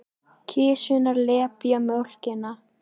Kisurnar lepja mjólkina.